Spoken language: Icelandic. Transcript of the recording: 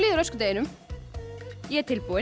öskudeginum ég er tilbúin